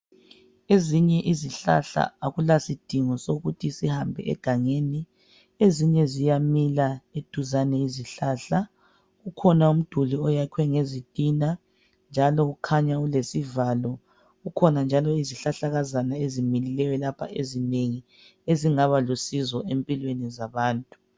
Ezinye izihlahla akulasidingo sokuthi sihambe egangeni. Ezinye ziyamila eduzane izihlahla, kukhona umduli oyakhwe ngezitina njalo ukhanya ulesivalo. kukhona njalo izihlahlakazana ezimilileyo lapha ezinengi ezingaba lusizo empilweni zabantu.